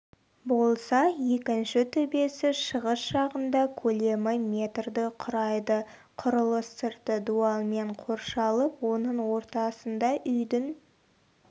болса екінші төбесі шығыс жағында көлемі метрді құрайды құрылыс сырты дуалмен қоршалып оның ортасында үйдің